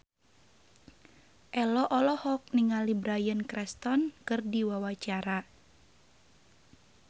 Ello olohok ningali Bryan Cranston keur diwawancara